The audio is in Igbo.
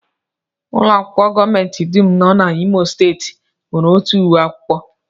Ụlọakwụkwọ gọọmenti dum nọ n'Imo steeti nwere otu uwe akwụkwọ